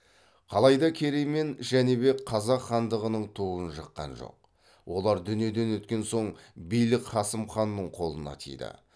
қалайда керей мен жәнібек қазақ хандығының туын жыққан жоқ олар дүниеден өткен соң билік қасым ханның қолына тиді